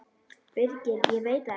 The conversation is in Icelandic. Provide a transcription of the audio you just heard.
Birgir: Ég veit það ekkert.